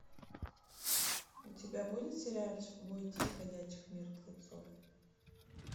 у тебя будет сериальчик бойтесь ходячих мертвецов